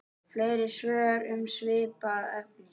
Fleiri svör um svipað efni